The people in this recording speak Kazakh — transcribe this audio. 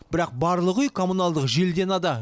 бірақ барлық үй коммуналдық желіден ада